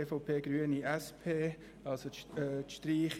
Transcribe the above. EVP/ Grüne/SP-JUSO-PSA auf Streichung